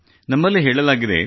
ನಮ್ಮಲ್ಲಿ ಹೇಳಲಾಗಿದೆ